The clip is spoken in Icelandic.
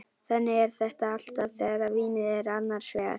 Þannig er þetta alltaf þegar vínið er annars vegar.